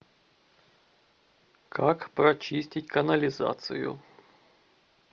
как прочистить канализацию